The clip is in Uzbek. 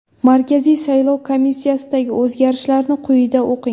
Markaziy salov komissiyasidagi o‘zgarishlarni quyida o‘qing.